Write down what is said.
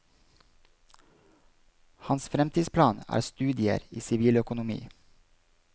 Hans fremtidsplan er studier i siviløkonomi.